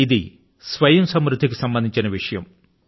ఇది స్వయం సమృద్ధి కి సంబంధించిన విషయం